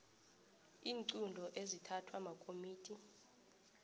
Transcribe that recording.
iinqunto ezithathwa makomidi